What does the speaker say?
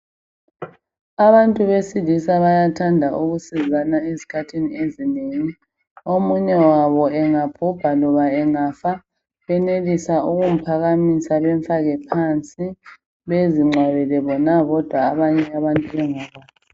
Abantu besilisa bayathanda ukusizana izikhathi ezinengi. Omunye wabo engabhubha lona engafa benelisa ukumphakamisa bemfake phansi bezingcwabele bona bodwa abanye bengakwazi.